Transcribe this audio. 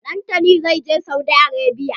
Dantani zai je Saudi Arabia.